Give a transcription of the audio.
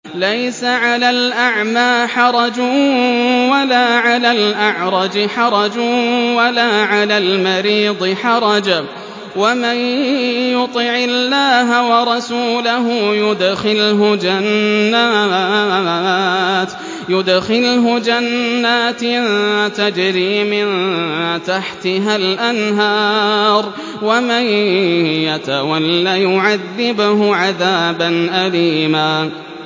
لَّيْسَ عَلَى الْأَعْمَىٰ حَرَجٌ وَلَا عَلَى الْأَعْرَجِ حَرَجٌ وَلَا عَلَى الْمَرِيضِ حَرَجٌ ۗ وَمَن يُطِعِ اللَّهَ وَرَسُولَهُ يُدْخِلْهُ جَنَّاتٍ تَجْرِي مِن تَحْتِهَا الْأَنْهَارُ ۖ وَمَن يَتَوَلَّ يُعَذِّبْهُ عَذَابًا أَلِيمًا